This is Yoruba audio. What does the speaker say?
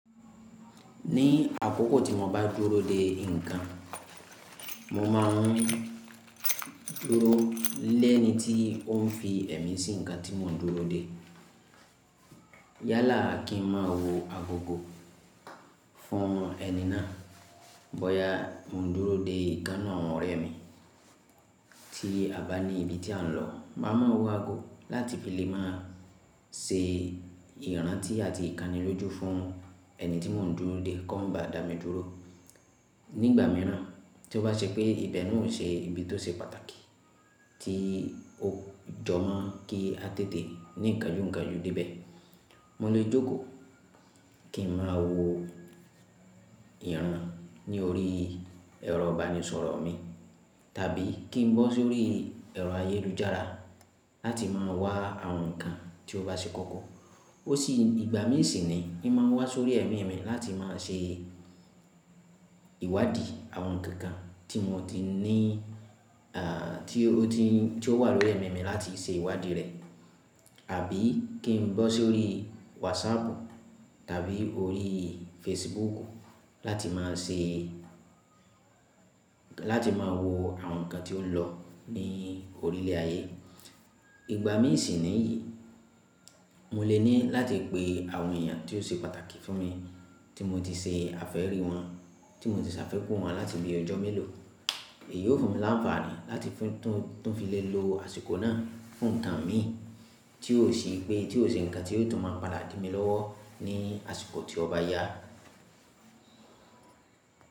Ní àkókò tí mo bá dúró de nǹkan, mo máa ń dúró lẹ́ẹ́ni tí ó ń fi ẹ̀mí sí nǹkan tí mò ń dúró de. Yálà kí n má wo agogo fún ẹni náà. Bọ́yá mò ń dúró de ìkán nu àwọn ọ̀rẹ́ mi tí a bá ní ibi tí à ń lọ, máa ma wo ago láti fi lè má a ṣe ìrántí àti ìkánilójú fún ẹni tí mò ń dúró de kó ba dà mí dúró. Ní ìgbà mìíràn, tí ó bá ṣe pé ibẹ̀ náà ò ṣe ibi tó ṣe pàtàkì tí ó jọmọ́ kí a tètè ní kaánju kaánju dé ibẹ̀, mo lè jókòó kí n má wo ìran ní orí ẹ̀rọ ìbánisọ̀rọ̀ mi, tàbí kí n bọ́ sórí ẹ̀rọ ayélujára láti máa wá àwọn nǹkan tí ó bá ṣe kọ́kọ́. Ó sì ìgbà mí sì ni in má wá sórí ẹ̀mí mi láti máa ṣe ìwádìí àwọn nǹkan tí mo ti ní, à, tí ó wà lórí ẹ̀mí mi láti ṣe ìwádìí rẹ̀, àbí kí n bọ́ sórí WhatsApp tàbí orí Facebook láti máa ṣe, láti máa wo àwọn nǹkan tí ó ń lọ ní orílẹ̀ ayé. Ìgbà mí sì ni yìí, mo lè ní láti pe àwọn èèyàn tí ó ṣe pàtàkì fún mi, tí mo ti ṣe àfẹ́ rí wọn, tí mo ti ṣàfikù wọn láti bí ọjọ́ mélòó, èyí ó fún mi ní anfààní láti fún, tún fi lè lo àsìkò náà fún nǹkan mi tí ó sì pé tí ó ṣe nǹkan tí yóò tún máa palà dí mi lọ́wọ́ ní àsìkò tí ó bá yá.